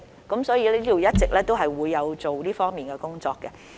因此，當局一直有進行這方面的工作。